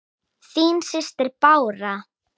Þín systir, Bára.